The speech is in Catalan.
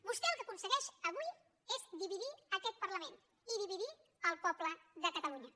vostè el que aconsegueix avui és dividir aquest parlament i dividir el poble de catalunya